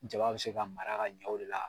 Jaba bɛ se ka mara ka ɲan o de la.